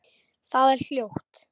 Það er hljótt.